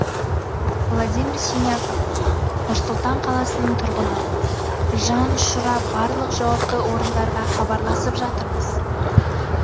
владимир синяков нұр сұлтан қаласының тұрғыны жан ұшыра барлық жауапты орындарға хабарласып жатырмыз